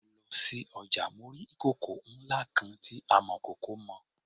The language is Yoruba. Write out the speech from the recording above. Nígbà tí mo lọ sí ọjà mo rí ìkòkò ńlá kan tí amọ̀kòkò mọ.